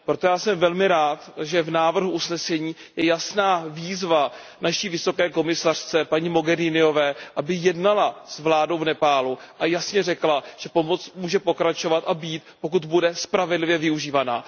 Proto já jsem velmi rád, že v návrhu usnesení je jasná výzva naší vysoké komisařce, paní Mogheriniové, aby jednala s vládou v Nepálu a jasně řekla, že pomoc může pokračovat a být, pokud bude spravedlivě využívána.